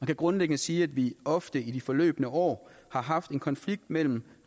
kan grundlæggende sige at vi ofte i de forløbne år har haft en konflikt mellem